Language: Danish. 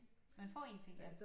Man får 1 ting ja